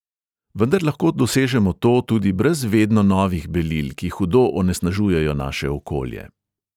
Vendar lahko dosežemo to tudi brez vedno novih belil, ki hudo onesnažujejo naše okolje.